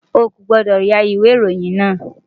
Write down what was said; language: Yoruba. O kò gbọ́dọ̀ ya ìwé ìròyìn náà!